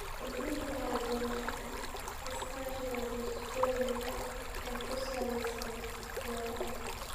Kordhinta kala duwanaanshaha iskaashiga bulshooyinka ee ku salaysan beeraha.